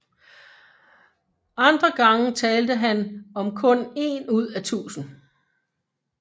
Andre gange talte han om kun én ud af tusind